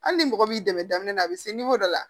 Hali ni mɔgɔ m'i dɛmɛ daminɛ a bɛ se dɔ la